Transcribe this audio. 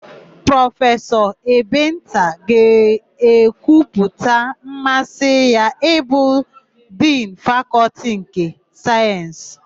Prọfesọ Ebenta ga-ekwupụta mmasị ya ịbụ Dinu Fakọltị nke Sayensị.